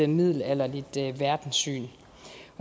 middelalderligt verdenssyn